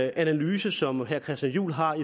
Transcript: analyse som herre christian juhl har